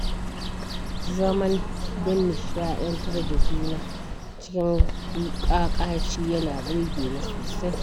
Zaman don nishaɗantar da juna cikin kakaci yana burge ni sosai.